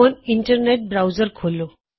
ਹੁਣ internet browser ਖੋਲੋ